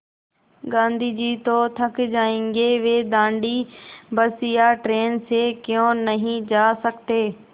गाँधी जी तो थक जायेंगे वे दाँडी बस या ट्रेन से क्यों नहीं जा सकते